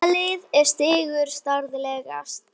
Hvaða lið er sigurstranglegast?